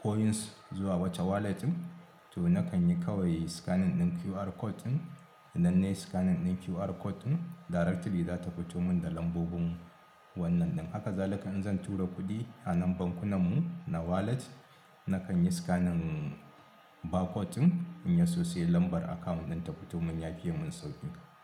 coins zuwa wata wallet to nakan yi kawai scanning ɗin QR code ɗin, idan nayi scanning ɗin QR code ɗin directly zata fito mun da lambobin wannan ɗin. Haka zalika in zan tura kuɗi a nan bankunan mu na wallet nakan yi scanning barcode ɗin in yi sosai lambar akawun ɗin ta fito mun ya fiƴe mun sauƙin ka.